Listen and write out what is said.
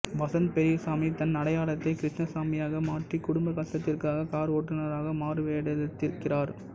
வசந்த் பெரியசாமி தன் அடையாளத்தை கிருஷ்ணசாமியாக மாற்றி குடும்ப கஷ்டத்திற்காக கார் ஓட்டுனராக மாறுவேடத்திலிருக்கிறார்